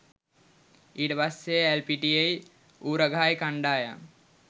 ඊට පස්සෙ ඇල්පිටියෙයි ඌරගහයි කණ්ඩායම්